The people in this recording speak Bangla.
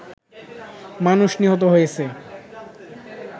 মানুষ নিহত হয়েছে